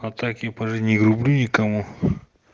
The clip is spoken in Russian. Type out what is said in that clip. а так я по жизни не грублю никому